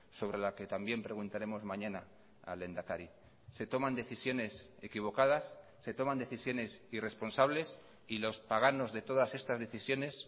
sobre la que también preguntaremos mañana al lehendakari se toman decisiones equivocadas se toman decisiones irresponsables y los paganos de todas estas decisiones